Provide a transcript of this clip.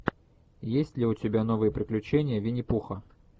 есть ли у тебя новые приключения винни пуха